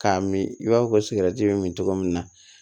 K'a min i b'a fɔ ko sigɛrɛti bɛ min cogo min na